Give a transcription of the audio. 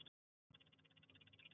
Næst verða birt skjöl um banka